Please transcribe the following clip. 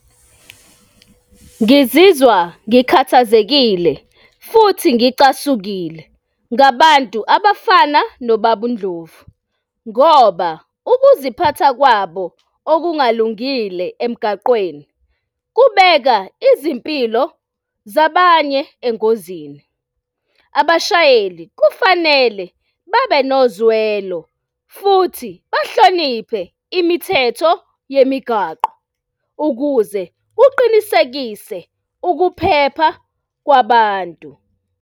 Ngizizwa ngikhathazekile futhi ngicasukile ngabantu abafana nobaba uNdlovu, ngoba ukuziphatha kwabo okungalungile emgaqweni kubeka izimpilo zabanye engozini. Abashayeli kufanele babe nozwelo futhi bahloniphe imithetho yemigwaqo ukuze kuqinisekise ukuphepha kwabantu.